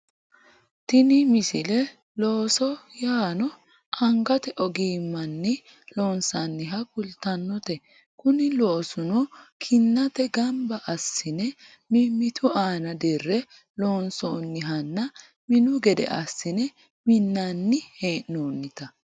tini misile looso yaano angate ogimmanni loonsooniha kultannote kuni loosuno kinnatenni ganba assine mimmitu aana dirre loonsoonihanna minu gede assine minnanni hee'noonnita